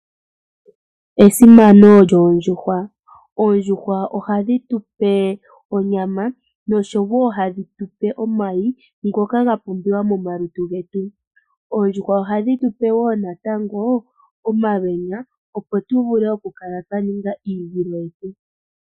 Esimano lyoondjuhwa, oondjiuhwa oha dhi tu pe onyama noshowo hadhitupe omayi ngoka gapumbiwa momalutu getu, oondjuhwa oha dhi tu pe wo natango omalweenya opo tuvule oku kala twa ninga iivilo yetu.